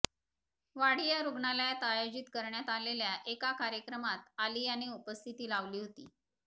वाडिया रुग्णालयात आयोजित करण्यात आलेल्या एका कार्यक्रमात आलियाने उपस्थिती लावली होती